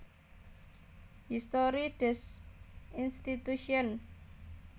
Histoire des institutions